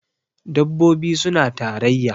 dabbobi suna tarayya